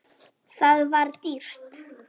Það var dýrt.